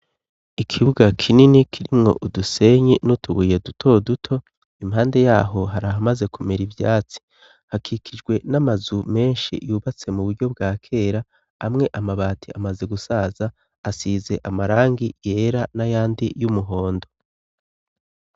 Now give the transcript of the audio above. Ikibuga kinini kirimwo udusenyi n'utubuye duto duto, impande yaho hari ahamaze kumera ivyatsi, hakikijwe n'amazu menshi yubatse mu buryo bwa kera, amwe amabati amaze gusaza, asize amarangi yera n'ayandi y'umuhondo.